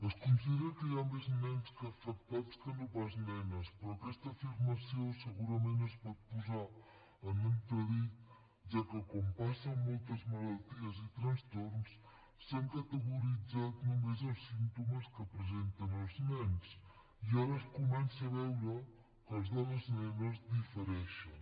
es considera que hi han més nens afectats que no pas nenes però aquesta afirmació segurament es pot posar en entredit ja que com passa amb moltes malalties i trastorns s’han categoritzat només els símptomes que presenten els nens i ara es comença a veure que els de les nenes difereixen